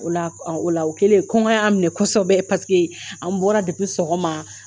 O la , o kɛlen, kɔngɔ y'an minɛ kɔsɔbɛ paseke an bɔra ɔgɔma.